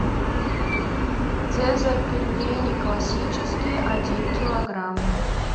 цезарь пельмени классические один килограмм